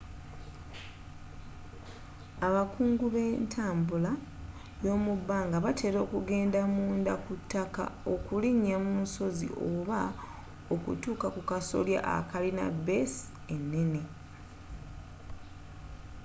abakungu be ntambbula y'omubbanga batela okugenda munda ku taaka okulinya mu nsozi oba okutuka ku kasolya akalina beessi enene